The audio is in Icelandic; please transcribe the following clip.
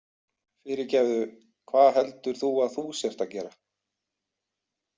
Fyrirgefðu, hvað heldur þú að þú sért að gera?